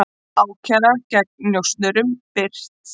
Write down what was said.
Ákæra gegn njósnurum birt